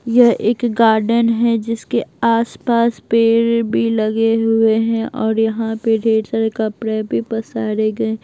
यह एक गार्डन है जिसके आसपास पेड़ भी लगे हुए हैं और यहां पे ढेर सारे कपड़े भी पसारे गए --